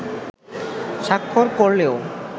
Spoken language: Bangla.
স্বাক্ষর করলেও